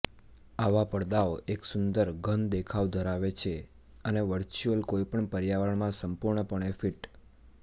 આવા પડદાઓ એક સુંદર ઘન દેખાવ ધરાવે છે અને વર્ચ્યુઅલ કોઈપણ પર્યાવરણ માં સંપૂર્ણપણે ફિટ